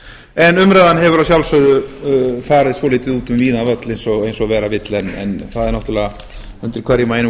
en umræðan hefur að sjálfsögðu farið dálítið út um víðan völl eins og verða vill en það er náttúrlega undir hverjum og einum